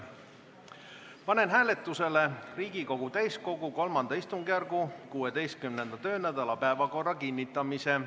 Panen hääletusele Riigikogu täiskogu III istungjärgu 16. töönädala päevakorra kinnitamise.